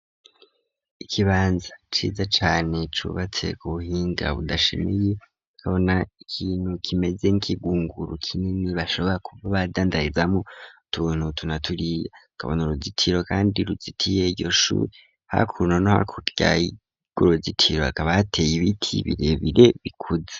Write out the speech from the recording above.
Ikibanza ciza cane cubatse ku buhinga budashemeye kabona ikintu kimeze nk'igunguru kinini bashobora kuza badandarizamwo tuntu tunaturiye kabona uruzitiro kandi ruzitiye yose hakaka guruzitiro akaba hateye ibiti birebire bikuze.